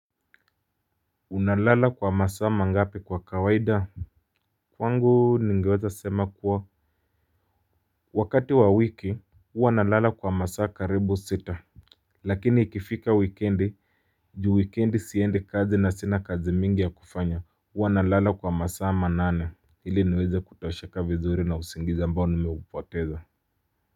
Unalala kwa masaa mangapi kwa kawaida. Kwangu ningeweza sema kuwa wakati wa wiki huwa nalala kwa masaa karibu sita lakini ikifika wikendi. Juu wikendi siendi kazi na sina kazi mingi ya kufanya huwa nalala kwa masaa manane ili niweze kutosheka vizuri na usingizi ambao nimeupoteza.